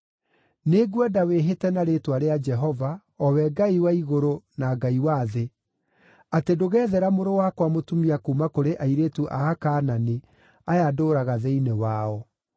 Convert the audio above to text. Nĩngwenda wĩhĩte na rĩĩtwa rĩa Jehova, o we Ngai wa igũrũ na Ngai wa thĩ, atĩ ndũgethera mũrũ wakwa mũtumia kuuma kũrĩ airĩtu a Akaanani aya ndũũraga thĩinĩ wao,